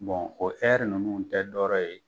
o ninnu tɛ dɔrɔ ye.